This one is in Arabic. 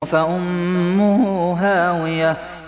فَأُمُّهُ هَاوِيَةٌ